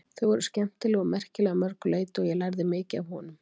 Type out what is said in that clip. Þau voru skemmtileg og merkileg að mörgu leyti og ég lærði mikið af honum.